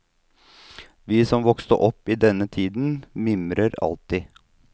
Vi som vokste opp i denne tiden mimrer alltid.